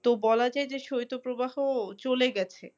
তো বলা যায় যে শৈত প্রবাহ চলে গেছে।